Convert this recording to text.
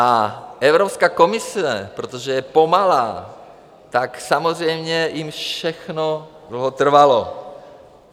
A Evropská komise, protože je pomalá, tak samozřejmě jim všechno dlouho trvalo.